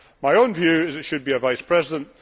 My own view is that it should be a vice president